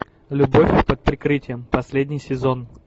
любовь под прикрытием последний сезон